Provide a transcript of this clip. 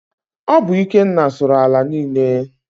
Ọ bụ Ikenna sụrụ ala niile.